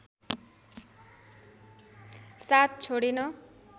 साथ छोडेन